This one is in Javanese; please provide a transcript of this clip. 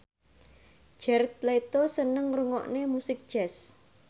Jared Leto seneng ngrungokne musik jazz